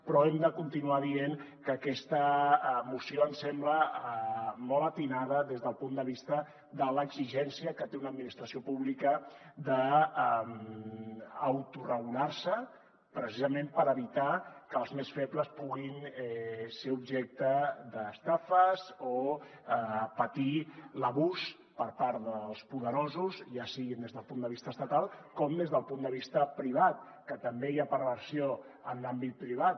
però hem de continuar dient que aquesta moció ens sembla molt encertada des del punt de vista de l’exigència que té una administració pública d’auto regular se precisament per evitar que els més febles puguin ser objecte d’estafes o patir l’abús per part dels poderosos ja sigui des del punt de vista estatal com des del punt de vista privat que també hi ha perversió en l’àmbit privat